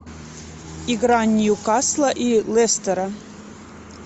игра ньюкасла и лестера